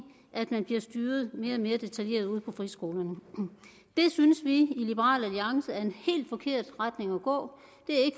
at man bliver styret mere og mere detaljeret ude på friskolerne det synes vi i liberal alliance er en helt forkert retning at gå